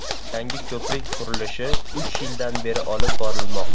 Yangi ko‘prik qurilishi uch yildan beri olib borilmoqda.